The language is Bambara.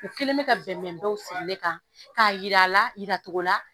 U kɛlen bɛ ka bɛnbɛnbaw siri ne kan k'a yira la yiracogo la